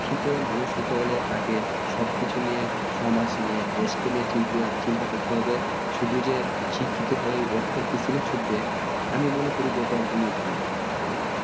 শিক্ষিত মানুষ হতে হলে তাকে সব কিছু নিয়ে সমাজ কে নিয়ে দেশ কে নিয়ে চিন্তা করতে হবে শুধু যে শিক্ষিত হয়ে অর্থের পেছনে ছুটবে আমি মনে করি যে এটা একদমি ভুল ভাইয়া